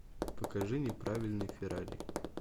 покажи неправильный феррари